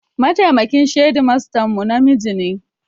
Mataimakin shedimastan mu namiji ne